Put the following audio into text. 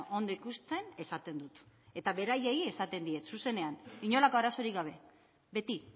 ondo ikusten esaten dut eta beraiei esaten diet zuzenean inolako arazorik gabe beti